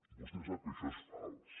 vostè sap que això és fals